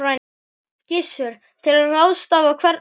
Gissur: Til að ráðstafa hvernig?